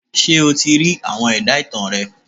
Ṣé o ti rí àwọn ẹ̀dá ìtàn rẹ.?